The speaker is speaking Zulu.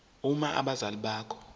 uma abazali bakho